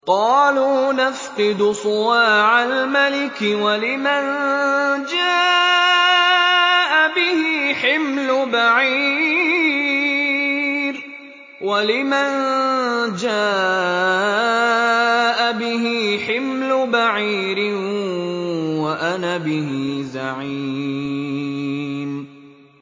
قَالُوا نَفْقِدُ صُوَاعَ الْمَلِكِ وَلِمَن جَاءَ بِهِ حِمْلُ بَعِيرٍ وَأَنَا بِهِ زَعِيمٌ